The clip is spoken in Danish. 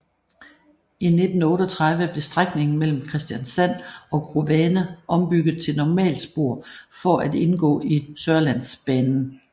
I 1938 blev strækningen mellem Kristiansand og Grovane ombygget til normalspor for at indgå i Sørlandsbanen